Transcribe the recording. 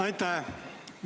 Aitäh!